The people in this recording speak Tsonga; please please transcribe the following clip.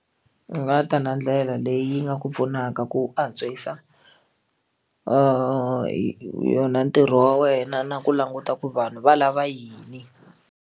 Ni nga ta na ndlela leyi nga ku pfunaka ku antswisa yona ntirho wa wena na ku languta ku vanhu va lava yini.